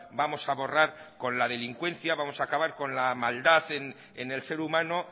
vamos a borrar con la delincuencia vamos a acabar con la maldad en el ser humano